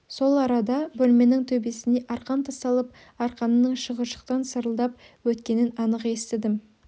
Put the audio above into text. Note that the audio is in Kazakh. сол арада бөлменің төбесіне арқан тасталып арқанның шығыршықтан сырылдап өткенін анық естідім